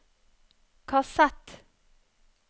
kassett